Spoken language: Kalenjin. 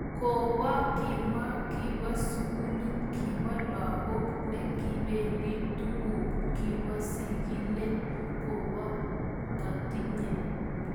Kobo kimwa kibo sugul kibo lagok ne kibendi tuguk kibo sigilet kobo ketinye.